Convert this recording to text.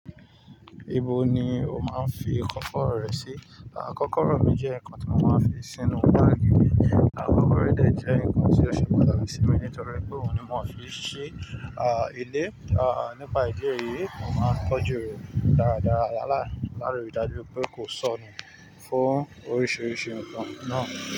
Ibo ni o máa ń fi kọ́kọ́rọ́ rẹ sí? Kọ́kọ́rọ́ mi jẹ́ nǹkan tí mo máa ń fi sínú báàgì mi. Kọ́kọ́rọ́ de jẹ́ nǹkan tí ó ṣe pàtàkì sí mi nítorí pé òun ni mo fi ń ṣi ilé. Nípa ìdí èyí, mo máa ń tọ́jú rẹ̀ dáradára láì darí dájú pé kò sọ́nà fún oríṣiríṣi nǹkan náà.